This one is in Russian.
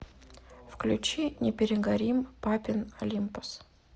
включи не перегорим папин олимпос